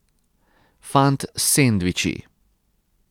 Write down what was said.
Fant s sendviči.